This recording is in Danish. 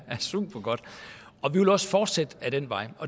supergodt og vi vil også fortsætte ad den vej